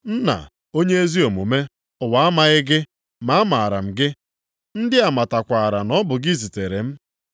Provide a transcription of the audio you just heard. “Nna onye ezi omume, ụwa amaghị gị. Ma amaara m gị. Ndị a matakwara na ọ bụ gị zitere m.